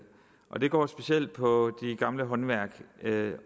og det går specielt på de gamle håndværk